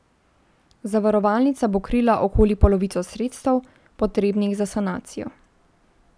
Zavarovalnica bo krila okoli polovico sredstev, potrebnih za sanacijo.